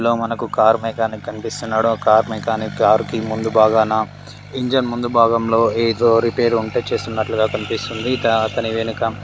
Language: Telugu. ఇక్కడ మనకు ఒక కార్ మెకానిక్ కనిపిస్తున్నాడు కార్ మెకానిక్ ఆ కారు ముందు బాగా నా ఇంజన్ ముందు భాగంలో ఏదో రిపేర్ ఉంటే చేస్తున్నట్లుగా కనిపిస్తున్నాడు ఇంకా అతని వెనుక --